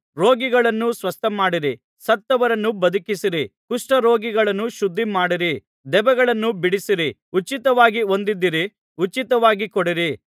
ರೋಗಿಗಳನ್ನು ಸ್ವಸ್ಥಮಾಡಿರಿ ಸತ್ತವರನ್ನು ಬದುಕಿಸಿರಿ ಕುಷ್ಠರೋಗಿಗಳನ್ನು ಶುದ್ಧಮಾಡಿರಿ ದೆವ್ವಗಳನ್ನು ಬಿಡಿಸಿರಿ ಉಚಿತವಾಗಿ ಹೊಂದಿದ್ದೀರಿ ಉಚಿತವಾಗಿ ಕೊಡಿರಿ